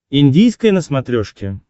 индийское на смотрешке